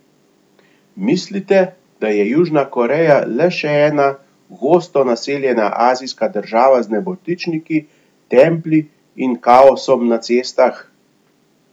Mislite, da je Južna Koreja le še ena gosto naseljena azijska država z nebotičniki, templji in kaosom na cestah?